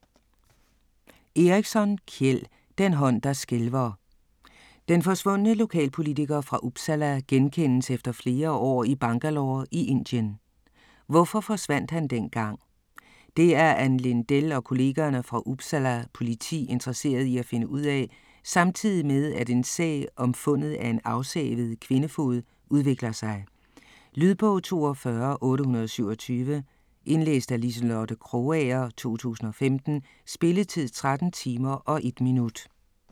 Eriksson, Kjell: Den hånd der skælver Den forsvundne lokalpolitiker fra Uppsala genkendes efter flere år i Bangalore i Indien. Hvorfor forsvandt han dengang? Det er Ann Lindell og kollegerne fra Uppsala politi interesseret i at finde ud af - samtidig med at en sag om fundet af en afsavet kvindefod udvikler sig. Lydbog 42827 Indlæst af Liselotte Krogager, 2015. Spilletid: 13 timer, 1 minutter.